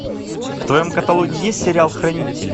в твоем каталоге есть сериал хранители